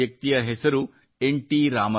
ಈ ಮಹಾನ್ ವ್ಯಕ್ತಿಯ ಹೆಸರು ಎನ್